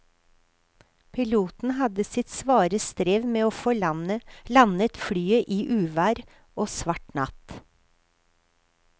Piloten hadde sitt svare strev med å få landet flyet i uvær og svart natt.